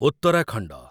Uttarakhand